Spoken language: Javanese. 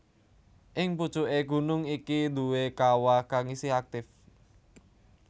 Ing pucuké gunung iki duwé kawah kang isih aktif